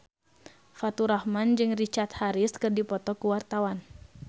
Faturrahman jeung Richard Harris keur dipoto ku wartawan